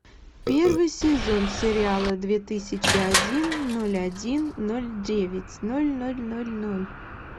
первый сезон сериала две тысячи один ноль один ноль девять ноль ноль ноль ноль